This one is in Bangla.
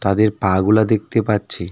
তাদের পা গুলা দেখতে পাচ্ছি. .